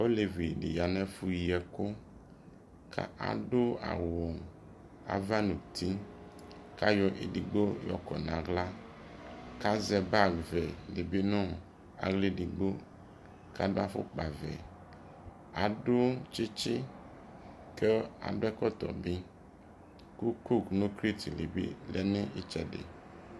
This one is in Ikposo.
ɔlɛvi di yanʋ ɛƒʋ yiɛkʋ kʋ adʋ awʋ aɣa nʋ ʋti kʋ ayɔ ɛdigbɔ yɔ kɔ nʋ ala kʋ azɛ bag vɛ dibi nʋ ala ɛdigbɔ kʋ adʋ aƒʋkpa vɛ, adʋ kyikyi kʋ adʋ ɛkɔtɔ bi kʋ coke nʋ crate li bi lɛnʋ ɛtsɛdɛ